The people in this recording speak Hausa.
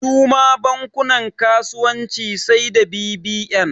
Suma bankunan kasuwanci sai da bbn